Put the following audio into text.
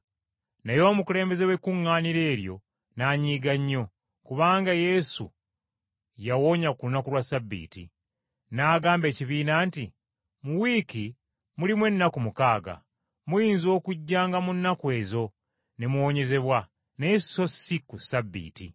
Naye omukulembeze w’ekkuŋŋaaniro eryo n’anyiiga nnyo, kubanga Yesu yawonya ku lunaku lwa Ssabbiiti. N’agamba ekibiina nti, “Mu wiiki mulimu ennaku mukaaga, muyinza okujjanga mu nnaku ezo ne muwonyezebwa, naye so si ku Ssabbiiti!”